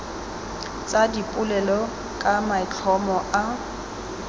tsa dipolelo ka maitlhomo a